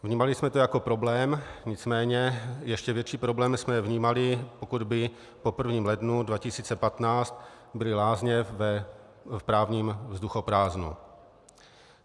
Vnímali jsme to jako problém, nicméně ještě větší problém jsme vnímali, pokud by po 1. lednu 2015 byly lázně v právním vzduchoprázdnu.